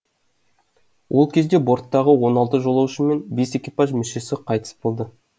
ол кезде борттағы он алты жолаушы мен бес экипаж мүшесі қайтыс болды